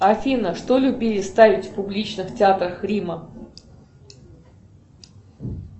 афина что любили ставить в публичных театрах рима